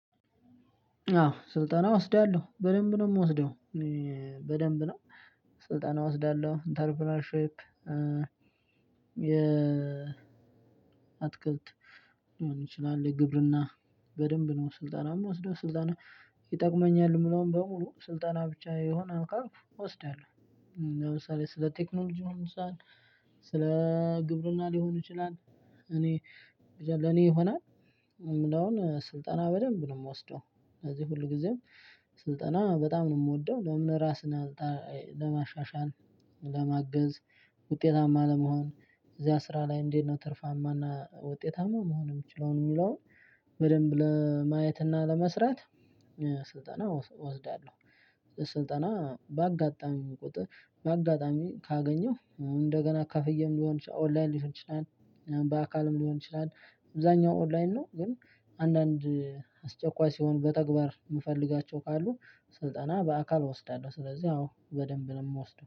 አዎ ስልጠና እወስዳለሁ በደንብ ነው የምወስደው በደንብ ነው ስልጠና እወስዳለሁ ኢንተርፕረነርሺፕ የ አትክልት ሊሆን ይችላል የግብርና በደንብ ነው ስልጠናም ወስዶ ስልጠና ይጠቅመኛል የምለውም በሙሉ ስልጠና ብቻ የሆነ ካልኩ እወስዳለሁ። ለምሳሌ ስለ ቴክኖሎጂም ሊሆን ይችላል፣ ስለ ስለ ግብርና ሊሆን ይችላል እኔ ብቻ ለኔ ይሆናል የምለውን ስልጠና በደንብ ነው የምወስደው። ስለዚህ ሁልጊዜም ስልጠና በጣም ነው የምወደው ለምን ራስን ለማሻሻል፣ ለማገዝ፣ ውጤታማ ለመሆን፣ እዚያ ስራ ላይ እንዴት ነው ትርፋማና ውጤታማ መሆን የምችለው የሚለውን በደንብ ለማየት እና ለመስራት ስልጠና እወስዳለሁ። ስልጠና ባጋጣሚም ካገኘሁ እንደገናም ከፍዬም ሊሆን ይችላል፣ ኦንላይን ሊሆን ይችላል፣ ባካልም ሊሆን ይችላል። አብዛኛው ኦንላይን ነው ግን አንዳንድ አስቸኳይ ሲሆኑ በተግባር የምፈልጋቸው ካሉ ስልጠና በተግባር እወስዳለሁ። ስለዚህ አዎ ስልጠና በደንብ እወስዳለሁ።